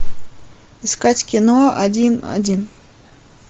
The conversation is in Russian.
искать кино один один